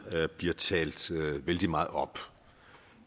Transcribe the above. bliver talt vældig meget op